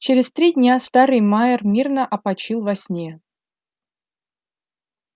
через три дня старый майер мирно опочил во сне